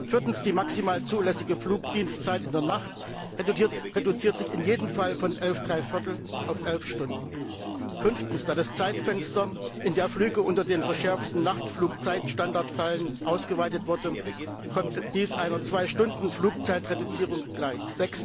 Viertens Die maximal zulässige Flugdienstzeit in der Nacht reduziert sich in jedem Fall von elf drei viertel auf elf Stunden. Fünftens Da das Zeitfenster, in dem Flüge unter dem verschärften Nachtflugzeitstandard fallen, ausgeweitet wurde, kommt dies einer 2 Stunden Flugzeitreduzierung gleich.